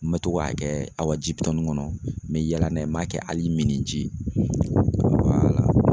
N bɛ to k'a kɛ Awaji bitɔni ŋɔnɔ, n bɛ yaala n'a ye n b'a kɛ hali miniji